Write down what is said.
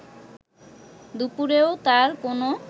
দুপুরেও তার কোনো